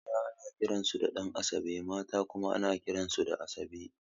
Maza ana kiran su Ɗan'asabe mata kuma ana kiran su Asabe